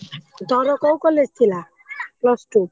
ତୋର କୋଉ college ଥିଲା plus two ?